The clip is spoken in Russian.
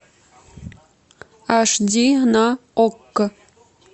аш ди на окко